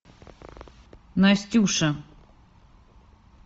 настюша